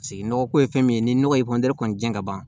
Paseke nɔgɔ ko ye fɛn min ye ni nɔgɔ ye kɔni jiɲɛ ka ban